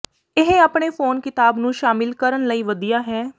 ਇਹ ਆਪਣੇ ਫੋਨ ਕਿਤਾਬ ਨੂੰ ਸ਼ਾਮਿਲ ਕਰਨ ਲਈ ਵਧੀਆ ਹੈ